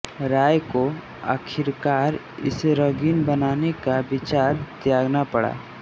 राय को आखिरकार इसे रंगीन बनाने का विचार त्यागना पड़ा